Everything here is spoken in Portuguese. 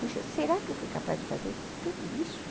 Puxa, será que eu fui capaz de fazer tudo isso?